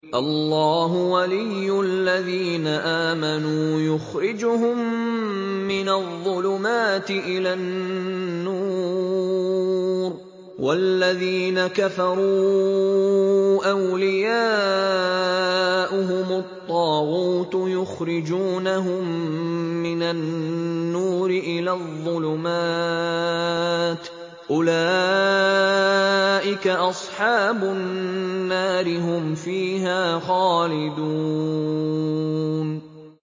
اللَّهُ وَلِيُّ الَّذِينَ آمَنُوا يُخْرِجُهُم مِّنَ الظُّلُمَاتِ إِلَى النُّورِ ۖ وَالَّذِينَ كَفَرُوا أَوْلِيَاؤُهُمُ الطَّاغُوتُ يُخْرِجُونَهُم مِّنَ النُّورِ إِلَى الظُّلُمَاتِ ۗ أُولَٰئِكَ أَصْحَابُ النَّارِ ۖ هُمْ فِيهَا خَالِدُونَ